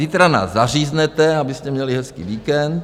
Zítra nás zaříznete, abyste měli hezký víkend.